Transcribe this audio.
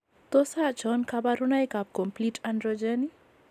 Tos achon kabarunaik ab Complete androgen ?